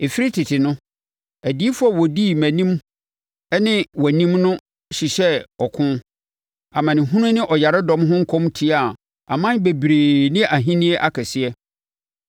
Ɛfiri tete no, adiyifoɔ a wɔdii mʼanim ne wʼanim no hyehyɛɛ ɔko, amanehunu ne ɔyaredɔm ho nkɔm tiaa aman bebree ne ahennie akɛseɛ.